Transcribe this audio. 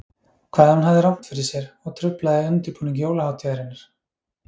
Hvað ef hann hafði rangt fyrir ‚ser og truflaði undirbúning jólahátíðarinnar?